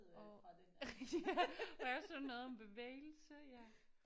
Og ja også noget om bevægelse ja